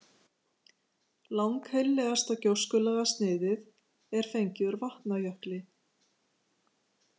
Lang-heillegasta gjóskulagasniðið er fengið úr Vatnajökli.